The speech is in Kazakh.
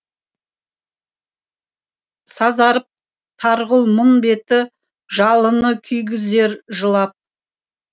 сазарып тарғыл мұң беті жалыны күйгізер жылап